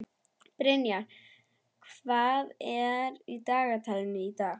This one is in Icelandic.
Brynjar, hvað er í dagatalinu í dag?